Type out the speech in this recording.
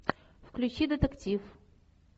включи детектив